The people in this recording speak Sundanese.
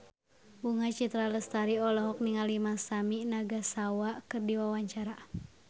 Bunga Citra Lestari olohok ningali Masami Nagasawa keur diwawancara